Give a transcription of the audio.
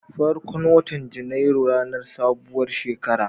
Farkon watan Janairu ranar sabuwar shekara ce.